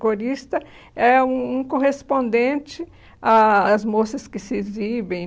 Corista é um um correspondente ah às moças que se exibem.